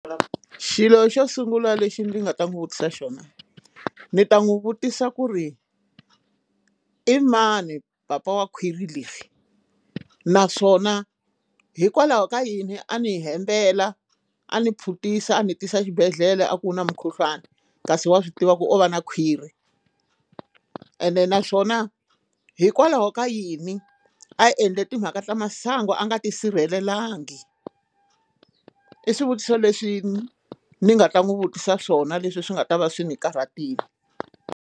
Xilo xo sungula lexi ndzi nga ta n'wi vutisa xona ndzi ta n'wi vutisa ku ri i mani papa wa khwiri leri naswona hikwalaho ka yini a ni hembela a ndzi phuntisa a ndzi tisa xibedhlele a ku na mukhuhlwani kasi wa swi tiva ku u va na khwirhi ene naswona hikwalaho ka yini a hi endle timhaka ta masangu a nga tisirhelelangi i swivutiso leswi ni nga ta n'wi vutisa swona leswi swi nga ta va swi ni karhatile.